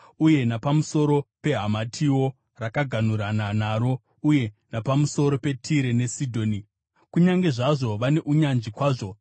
uye napamusoro peHamatiwo, rakaganhurana naro, uye napamusoro peTire neSidhoni, kunyange zvazvo vane unyanzvi kwazvo.